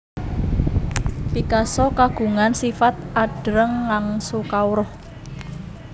Picasso kagungan sifat adreng ngangsu kawruh